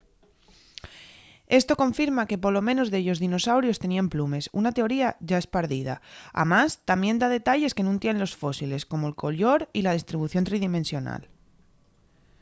esto confirma que polo menos dellos dinosaurios teníen plumes una teoría yá espardida amás tamién da detalles que nun tienen los fósiles como'l collor y la distribución tridimensional